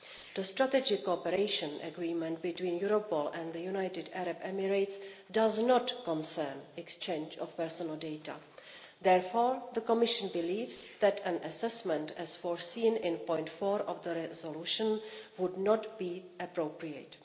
The strategic cooperation agreement between Europol and the United Arab Emirates does not concern the exchange of personal data. Therefore, the Commission believes that an assessment as foreseen in paragraph 4 of the resolution would not be appropriate.